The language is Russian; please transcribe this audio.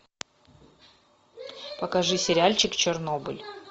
покажи сериальчик чернобыль